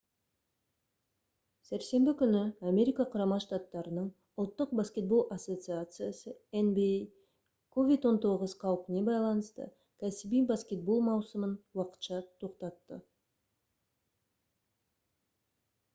сәрсенбі күні америка құрама штаттарының ұлттық баскетбол ассоциациясы nba covid-19 қаупіне байланысты кәсіби баскетбол маусымын уақытша тоқтатты